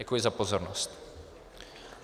Děkuji za pozornost.